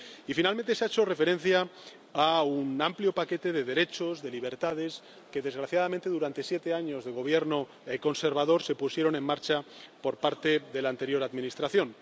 Y, finalmente, se ha hecho referencia a un amplio paquete de derechos, de libertades que, desgraciadamente, durante siete años de gobierno conservador se pusieron en marcha por parte de la anterior Administración.